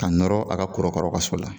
Ka nɔɔrɔ a ka korokara ka so la.